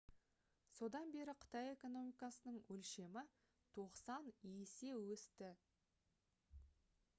содан бері қытай экономикасының өлшемі 90 есе өсті